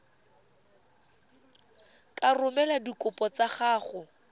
ka romela dikopo tsa gago